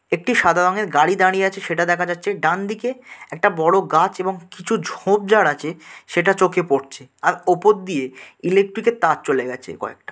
একটি সাদা রঙের গাড়ি দাঁড়িয়ে আছে সেটা দেখা যাচ্ছে। ডানদিকে একটা বড়ো গাছ এবং কিছু ঝোপঝাড় আছে সেটা চোখে পড়ছে। আর ওপর দিয়ে ইলেক্ট্রিক এর তার চলে গেছে কয়েকটা।